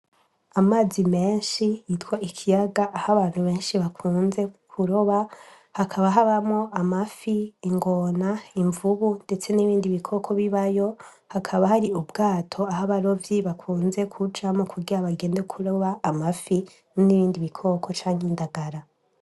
Amazi menshi yitwa ikiyaga ah 'abantu benshi bakunze kuroba, hakaba habamwo amafi ,ingona ,imvubu ndetse n' ibindi bikoko bibayo hakaba har' ubwato ah' abarovyi bakunze kujamwo kugira bagende kuroba amafi n'ibindi biko ko cank 'indagara.